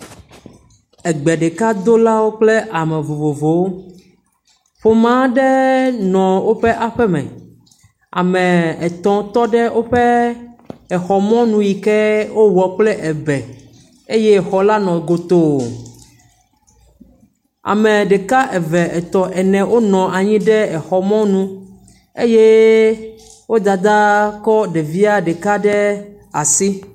Ame ɖeka, eve, etɔ wonɔ anyi ɖe exɔ ɖe mɔnu eye wo dada kɔ ɖevia ɖeka ɖe asi. Egbe ɖekadola kple ame vovovowo, ƒome aɖe nɔ woƒe aƒe me. Ame etɔ̃ tɔ ɖe woƒe exɔ mɔnu yike wowɔ kple ebe eye xɔ la godoo.